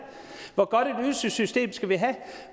hvor godt et ydelsessystem skal vi have